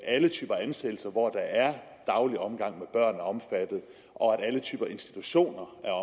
alle typer ansættelser hvor der er daglig omgang med børn er omfattet og at alle typer institutioner er